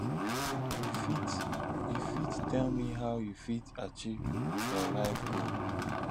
you fit you fit tell me how you fit achieve your life goal